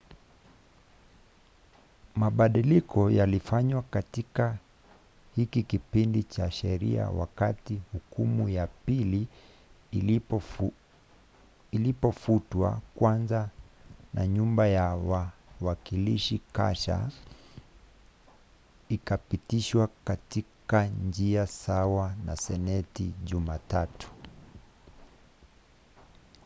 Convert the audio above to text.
mabadiliko yalifanywa katika hiki kipindi cha sheria wakati hukumu ya pili ilipofutwa kwanza na nyumba ya wawakilishi kasha ikapitishwa katika njia sawa na seneti jumatatu